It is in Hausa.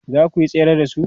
zakuyi tsere da su?